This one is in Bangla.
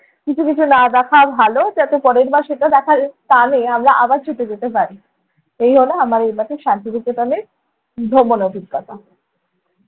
কিছু কিছু না দেখাও ভালো। তাতে পরের বার সেটা দেখার টানে আমরা আবার ছুটে যেতে পারি। এই হলো আমার এইবারের শান্তি নিকেতনের ভ্রমণ অভিজ্ঞতা।